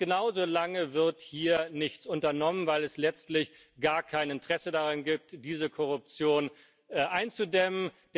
Und genauso lange wird hier nichts unternommen, weil es letztlich gar kein Interesse daran gibt, diese Korruption einzudämmen.